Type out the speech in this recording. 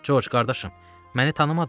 Corc qardaşım, məni tanımadın?